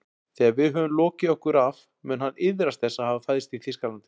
Þegar við höfum lokið okkur af mun hann iðrast þess að hafa fæðst í Þýskalandi